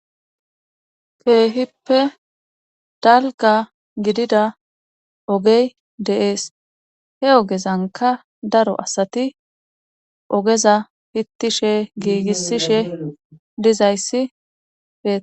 Keehippe dalga gidida ogey deees he ogezanka daro asati ogeza pittishe giigissishe dizayssibe